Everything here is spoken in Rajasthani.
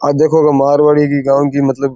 और देखो मारवाड़ी की गांव की मतलब --